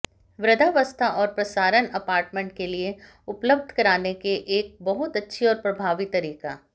वृद्धावस्था और प्रसारण अपार्टमेंट के लिए उपलब्ध कराने के एक बहुत अच्छी और प्रभावी तरीका